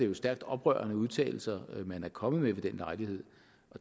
jo stærkt oprørende udtalelser man er kommet med ved den lejlighed